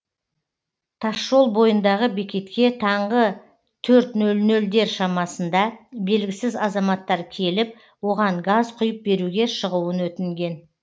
тасжол бойындағы бекетке таңғы төрт нөл нөлдер шамасында белгісіз азаматтар келіп оған газ құйып беруге шығуын өтінген